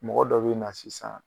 Mɔgɔ dɔ be na sisan